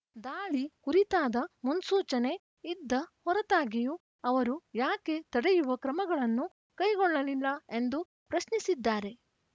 ದಾಳಿ ಕುರಿತಾದ ಮುನ್ಸೂಚನೆ ಇದ್ದ ಹೊರತಾಗಿಯೂ ಅವರು ಯಾಕೆ ತಡೆಯುವ ಕ್ರಮಗಳನ್ನು ಕೈಗೊಳ್ಳಲಿಲ್ಲ ಎಂದು ಪ್ರಶ್ನಿಸಿದ್ದಾರೆ